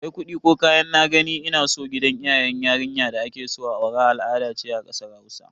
Kai kudi ko kayan "na gani ina so" gidan iyayen yarinya da akeso a aura al'ada ce a kasar Hausa.